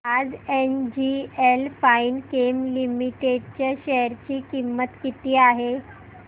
आज NGL Finechem limited च्या share ची किंमत किती आहे